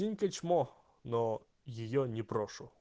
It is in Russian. синька чмо но её не брошу